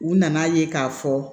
U nana ye k'a fɔ